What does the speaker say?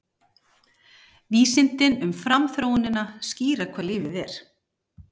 Vísindin um framþróunina skýra hvað lífið er